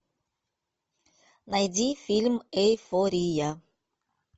найди фильм эйфория